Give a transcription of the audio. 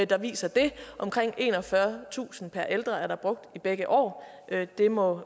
der viser det omkring enogfyrretusind kroner per ældre er der brugt i begge år det må